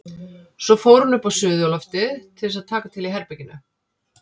Svo fór hún upp á suðurloftið til þess að taka til í herberginu.